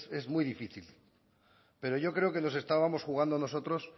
es muy difícil pero yo creo que nos estábamos jugando nosotros